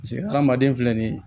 Paseke hadamaden filɛ nin ye